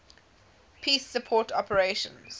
peace support operations